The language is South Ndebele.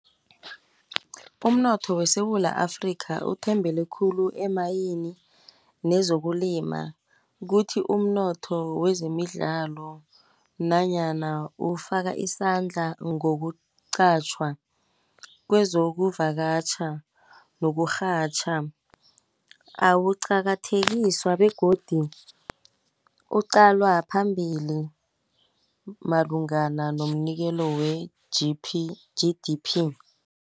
Umnotho weSewula Afrika uthembele khulu emayini, nezokulima. Kuthi umnotho wezemidlalo nanyana ufaka isandla ngokuqatjhwa kwezokuvakatjha nokurhatjha. Awuqakathekiswa begodu uqalwa phambili malungana nomnikelo we-G_D_P.